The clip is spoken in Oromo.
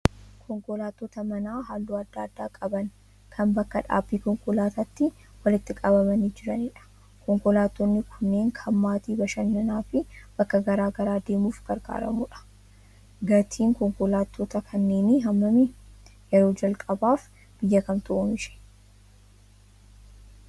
Konkolaattota manaa halluu adda addaa qaban, kan bakka dhaabbii konkolaataatti walitti qabamanii jiranidha. Konkolaattonni kunneen kan maatiin bashannanaa fi bakka garaa garaa deemuuf gargaaramudha. Gatiin konkolaattota kanneenii hammami? Yeroo jalqabaaf biyya kamtu oomishe?